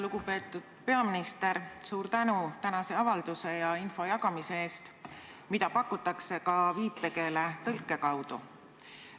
Lugupeetud peaminister, suur tänu tänase avalduse ja info jagamise eest, mida pakutakse ka viipekeeletõlke abil!